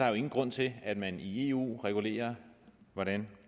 jo ingen grund til at man i eu regulerer hvordan